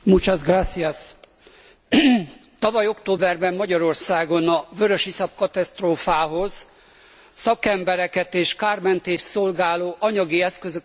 Tavaly októberben Magyarországon a vörösiszap katasztrófához szakembereket és kármentést szolgáló anyagi eszközöket kaptunk az uniós tagállamoktól.